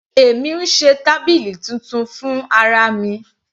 Èmi ń ṣe tábìlì titun fún ara mi.